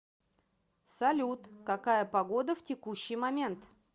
салют какая погода в текущий момент